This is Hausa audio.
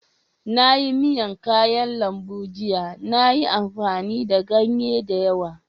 Na yi miyan kayan lambu jiya. Na yi amfani da ganye da yawa.